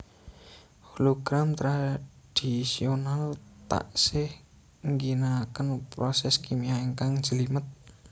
Hologram tradhisional taksih ngginakaken proses kimia ingkang njlimet